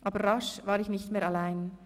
Aber rasch war ich nicht mehr allein.